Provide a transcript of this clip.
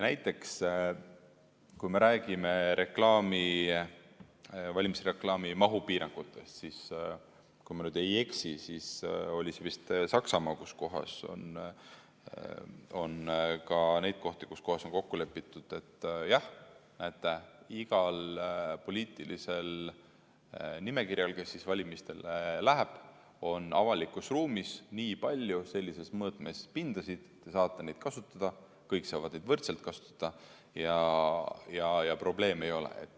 Näiteks kui me räägime valimisreklaami mahu piirangutest, siis kui ma ei eksi, oli see vist Saksamaa, kus on ka neid kohti, kus on kokku lepitud, et jah, näete, igal poliitilisel nimekirjal, kes valimistele läheb, on avalikus ruumis nii palju sellistes mõõtmetes pindasid, te saate neid kasutada, kõik saavad neid võrdselt kasutada ja probleeme ei ole.